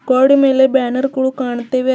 ಗ್ವಾಡಿ ಮೇಲೆ ಬ್ಯಾನರ್ ಗಳು ಕಾಣ್ತೀವೆ ಅಜ್ಜಿ--